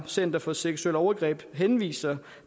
center for seksuelle overgreb henviser